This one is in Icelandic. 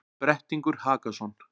Brettingur Hakason,